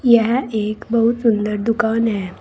यह एक बहुत सुंदर दुकान है।